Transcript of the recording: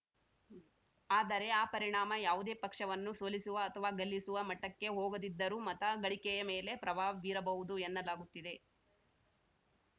ಆದರೆ ಆ ಪರಿಣಾಮ ಯಾವುದೇ ಪಕ್ಷವನ್ನು ಸೋಲಿಸುವ ಅಥವಾ ಗೆಲ್ಲಿಸುವ ಮಟ್ಟಕ್ಕೆ ಹೋಗದಿದ್ದರೂ ಮತ ಗಳಿಕೆಯ ಮೇಲೆ ಪ್ರಭಾವ ಬೀರಬಹುದು ಎನ್ನಲಾಗುತ್ತಿದೆ